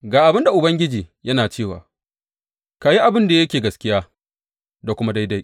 Ga abin da Ubangiji yana cewa, ka yi abin da yake gaskiya da kuma daidai.